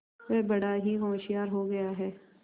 वह बड़ा ही होशियार हो गया है